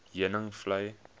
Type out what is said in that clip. heuningvlei